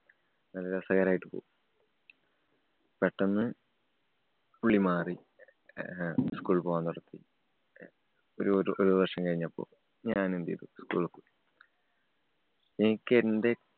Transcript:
നല്ല രസകരായിട്ട് പോവും. പെട്ടന്ന് പുള്ളി മാറി. ഏ~ school ല്‍ പോകാന്‍ നിര്‍ത്തി. ഒരു ഒരു വര്‍ഷം കഴിഞ്ഞപ്പോ ഞാന്‍ എന്ത് ചെയ്തു? എനിക്കെന്‍റെ